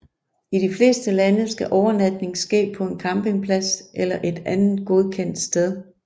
I de fleste lande skal overnatning ske på en campingplads eller et andet godkendt sted